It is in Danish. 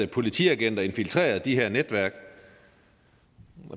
politiagenter infiltrerer de her netværk